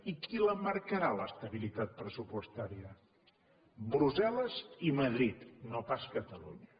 i qui la marcarà l’estabilitat pressupostària brussel·les i madrid no pas catalunya